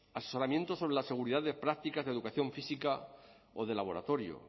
asesoramiento sobre la seguridad de prácticas de educación física o de laboratorio